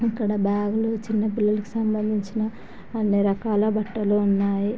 ఇక్కడ బ్యాగ్ లు చిన్న పిల్లలకు సంబంధించిన అని రకాల బట్టలు ఉన్నాయి.